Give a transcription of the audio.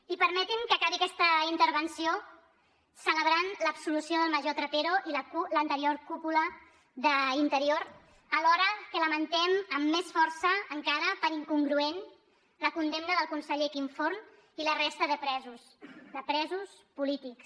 i permetin me que acabi aquesta intervenció celebrant l’absolució del major trapero i l’anterior cúpula d’interior alhora que lamentem amb més força encara per incongruent la condemna del conseller quim forn i la resta de presos de presos polítics